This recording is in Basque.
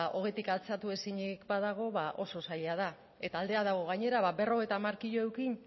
ohetik altxatu ezinik badago ba oso zaila da eta aldea dago gainera berrogeita hamar kilo eduki